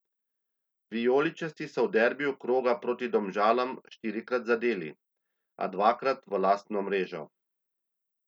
Vijoličasti so v derbiju kroga proti Domžalam štirikrat zadeli, a dvakrat v lastno mrežo.